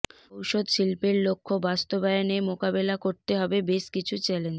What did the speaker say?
ওষুধ শিল্পের লক্ষ্য বাস্তবায়নে মোকাবেলা করতে হবে বেশ কিছু চ্যালেঞ্জ